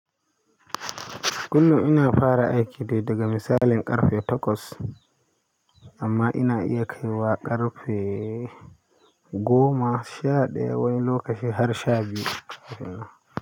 Kullum ina fara aiki ne daga misalin ƙarfe takwas amma ina iya kai wa ƙarfe goma sha ɗaya wani lokaci har sha biyu.